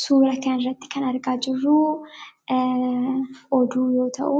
Suuraa kanarratti kan agarru oduu yoo ta'u,